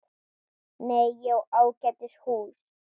Nei, ég á ágætis hús.